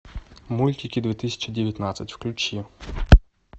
мультики две тысячи девятнадцать включи